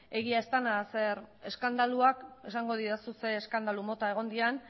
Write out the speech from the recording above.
egia ez dena zeren eskandaluak esango didazu zer eskandalu mota egon diren